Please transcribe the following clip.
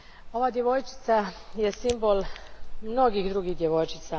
Ova djevojčica je simbol mnogih drugih djevojčica.